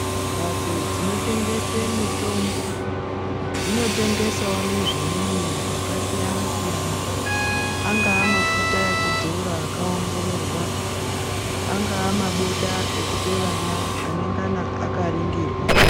Mhatso dzinotengese mitombo dzinotengeswo nezvimweni zvakasiyanasiyana angaa mafuta ekudzora akaongororwa angaa mabota ekupe vana enengana akaringirwa.